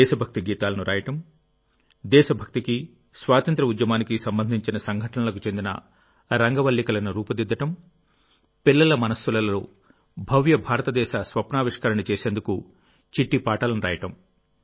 దేశభక్తి గీతాలు రాయడం దేశభక్తికి స్వాతంత్ర్య ఉద్యమానికి సంబంధించిన సంఘటనలకు చెందిన రంగవల్లికలను రూపుదిద్దడంపిల్లల మనస్సులలో భవ్య భారతదేశ స్వప్నావిష్కరణ చేసేందుకుచిట్టిపాట లను రాయడం